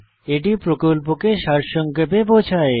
এটি প্রকল্পকে সারসংক্ষেপে বোঝায়